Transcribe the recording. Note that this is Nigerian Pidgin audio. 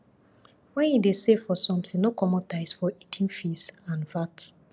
when you dey save for something no comot eye for hidden fees and vat